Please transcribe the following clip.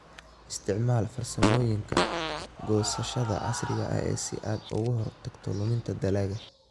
Isticmaal farsamooyinka goosashada casriga ah si aad uga hortagto luminta dalagga.